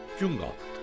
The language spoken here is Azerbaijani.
Gün qalxdı.